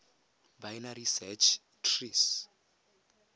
binary search trees